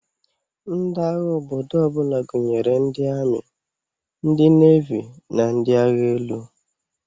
Ndi agha obodo ọbụla gụnyere ndi ami, ndi nevi na ndi agha elu.